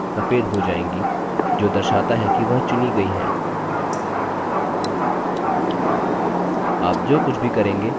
यह दो शीट्स के बीच सभी tabs सफ़ेद हो जाएंगी जो दर्शाता है कि वह चुनी गई हैं